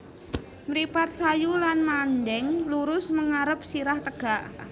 Mripat sayu lan mandeng lurus mengarep sirah tegak